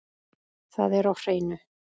Það er á hreinu.